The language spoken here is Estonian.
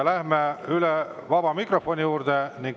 Läheme vaba mikrofoni juurde.